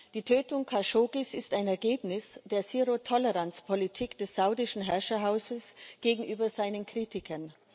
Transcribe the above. Die Tötung Khashoggis ist ein Ergebnis der Zero Toleranz Politik des saudischen Herrscherhauses gegenüber seinen Kritikern.